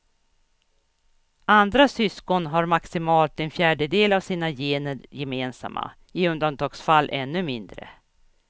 Andra syskon har maximalt en fjärdedel av sina gener gemensamma, i undantagsfall ännu mindre.